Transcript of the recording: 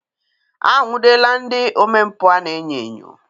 Anwụdela ndị omempụ a na-enyo enyo.